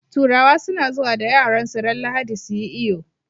Turawa suna zuwa da yaransu ran lahadi suyi iyo